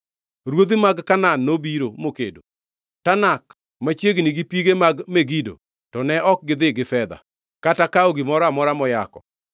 “Ruodhi mag Kanaan nobiro, mokedo; Tanak machiegni gi pige mag Megido, to ne ok gidhi gi fedha, kata kawo gimoro amora moyako.